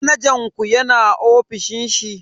Manajan ku yana ofishin shi?